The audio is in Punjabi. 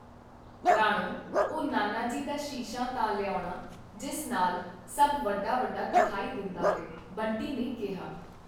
ਰਾਣੋ, ਉਹ ਨਾਨਾ ਜੀ ਦਾ ਸ਼ੀਸ਼ਾ ਤਾਂ ਲਿਆਉਣਾ, ਜਿਸ ਨਾਲ ਸਭ ਵੱਡਾ-ਵੱਡਾ ਦਿਖਾਈ ਦਿੰਦਾ ਹੈ, ਬਂਟੀ ਨੇ ਕਿਹਾ।